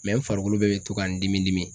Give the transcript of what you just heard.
n farikolo bɛɛ be to ka n dimi dimi